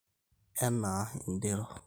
Anaa]ind`erro.